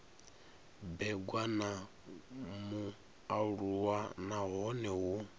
bebwa na mualuwa nahone hu